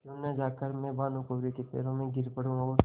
क्यों न जाकर मैं भानुकुँवरि के पैरों पर गिर पड़ूँ और